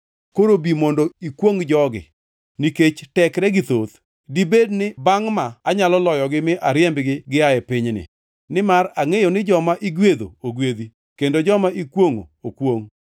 Koro bi mondo ikwongʼ jogi, nikech tekregi thoth. Dibed ni bangʼ ma anyalo loyogi mi ariembgi gia e pinyni. Nimar angʼeyo ni joma igwedho ogwedhi, kendo joma ikwongʼo okwongʼ.”